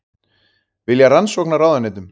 Vilja rannsókn á ráðuneytum